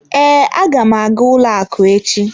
Ee, aga m aga ụlọ akụ echi.